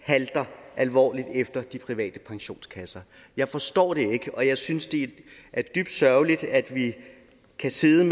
halter alvorligt efter de private pensionskasser jeg forstår det ikke og jeg synes det er dybt sørgeligt at vi kan sidde